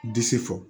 Disi fɔ